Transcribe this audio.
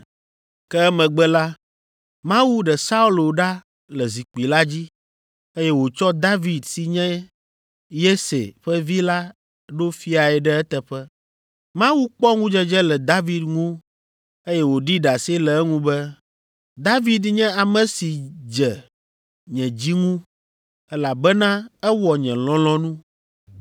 Ke emegbe la, Mawu ɖe Saulo ɖa le zikpui la dzi, eye wòtsɔ David si nye Yese ƒe vi la ɖo fiae ɖe eteƒe. Mawu kpɔ ŋudzedze le David ŋu, eye wòɖi ɖase le eŋu be, ‘David nye ame si dze nye dzi ŋu, elabena ewɔ nye lɔlɔ̃nu.’